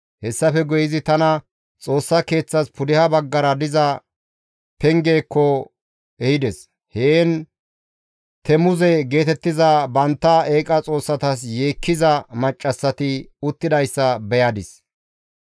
Hessafe guye izi tana Xoossa Keeththas pudeha baggara diza pengezaakko ehides; heen Temuze geetettiza bantta eeqa xoossas yeekkiza maccassati uttidayssa beyadis.